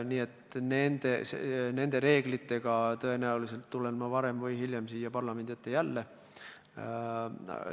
Nii et nende reeglitega tulen ma tõenäoliselt varem või hiljem jälle siia parlamendi ette.